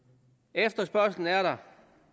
efterspørgslen er der